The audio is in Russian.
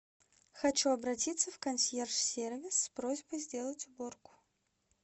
хочу обратиться в консьерж сервис с просьбой сделать уборку